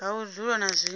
ha u dzula na zwinwe